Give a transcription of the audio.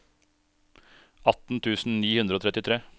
atten tusen ni hundre og trettitre